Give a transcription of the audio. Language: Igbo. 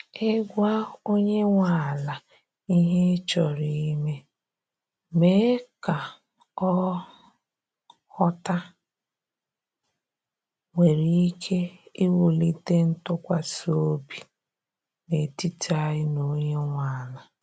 i gwa onye nwe ala ihe ị chọrọ ime, mee ka ọ ghọta, nwere ike iwulite ntụkwasị obi n’etiti anyị na onye nwe ala.